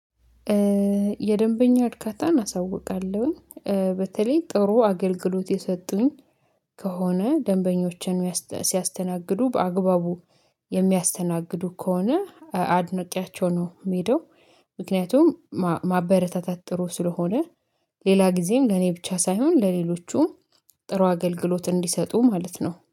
የደንበኛ እርካታን አሳውቃለሁኝ በተለይ ጥሩ አገልግሎት የሰጡኝ። ከሆነ ደንበኞችን ሲያስተናግዱ በአግባቡ የሚያስተናግዱ ከሆነ አድነቄያቸው ነው የሚሄደው። ምክንያቱም ማበረታታት ጥሩ ስለሆነ ሌላ ጊዜም ለኔ ብቻ ሳይሆን ለሌሎቹም ጥሩ አገልግሎት እንዲሰጡ ማለት ነው